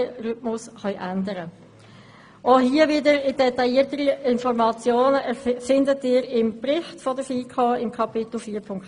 Auch hierzu finden Sie im Bericht der FiKo detailliertere Informationen, nämlich in Kapitel 4.2.